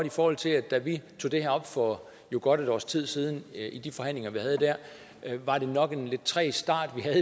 i forhold til at da vi tog det her op for godt et års tid siden i de forhandlinger vi havde der var det nok en lidt træg start vi havde